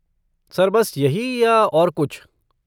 Sir बस यही या और कुछ?